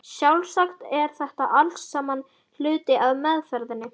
Sjálfsagt er þetta allt saman hluti af meðferðinni.